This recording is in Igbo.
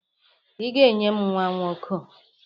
Ị ga-enye m nwa nwoke!